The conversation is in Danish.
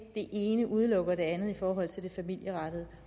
det ene udelukker det andet i forhold til det familierettede